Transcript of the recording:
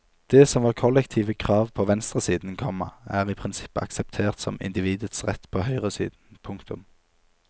Det som var kollektive krav på venstresiden, komma er i prinsippet akseptert som individets rett på høyresiden. punktum